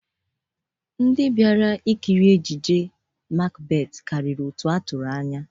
Ndị nkiri ejiji tiyeta bịara ihe ngosi Hamleti karịrị otu a tụrụ anya.